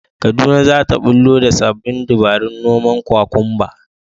Kaduna za ta ɓullo da sabbin dabarun noman kwakumba